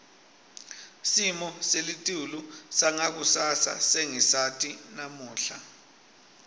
simo selitulu sangakusasa sesingasati namuhla